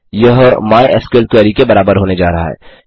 यह MySQL query के बराबर होने जा रहा है